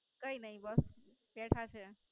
કઈ ની બસ બેઠા છે.